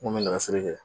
N kun bɛ nɛgɛ siri kɛ